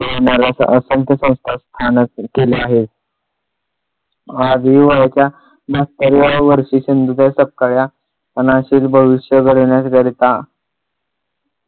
किंवा मला अस असंख्य संस्था केल्या आहे आज हिवाळ्याच्या बहात्तर व्या वर्षी सिंधुताई सपकाळ या अनाथांचे भविष्य घडविण्याकरिता